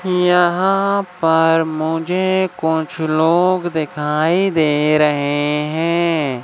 यहाँ पर मुझे कुछ लोग दिखाई दे रहे हैं।